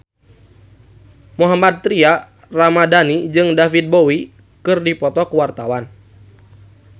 Mohammad Tria Ramadhani jeung David Bowie keur dipoto ku wartawan